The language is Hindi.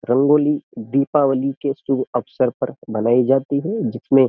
रंगोली दीपावली के शुभ अवसर पर बनाई जाती है जिसमें --